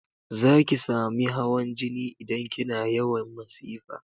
Zaki sami hawan jini idan kina yawan masifa